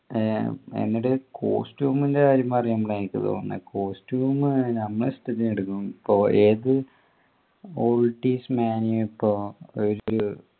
ആഹ് എന്നോട് costume ൻ്റെ കാര്യം പറയും ന്ന എനിക്ക് തോന്നുന്ന് costume നമ്മളെ ഇഷ്ടത്തിനെടുക്കും കോ ഏത്